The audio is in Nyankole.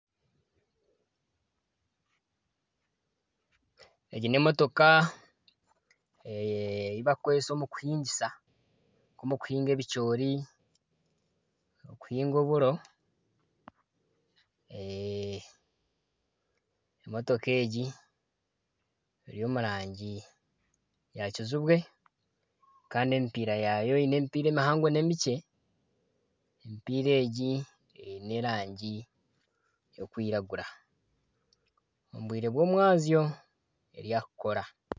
Egi n'emotooka eibakukoresa omu kihingisa nka omu kihinga ebicoori, okuhinga oburo, eeh motooka egi eri omu rangi ya kijubwe kandi emipiira yaayo eine emipiira emihango n'emikye, emipiira egi eine erangi y'okwiragura omu bwire bw'omwazyo eri aha kukora.